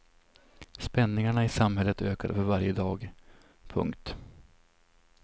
Spänningarna i samhället ökade för varje dag. punkt